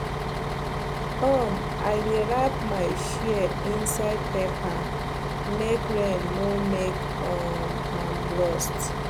um i dey wrap my shears inside paper make rain no make um am rust